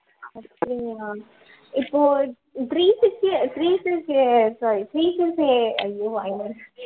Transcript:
அப்படியா இப்போ three sixty three sixty sorry three sixty ஐயோ வாயில வர~